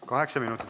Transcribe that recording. Kaheksa minutit.